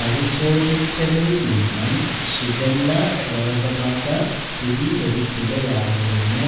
പരിശോധിച്ചതില്നിന്നും shigella രോഗ ബാധ സ്ഥിരീകരിക്കുകയായിരുന്നു